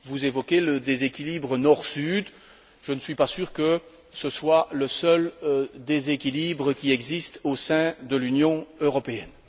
Vous évoquez le déséquilibre Nord Sud, je ne suis pas sûr que ce soit le seul déséquilibre qui existe au sein de l'Union européenne.